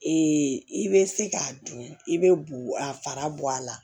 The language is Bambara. i bɛ se k'a dun i bɛ bugu a fara bɔ a la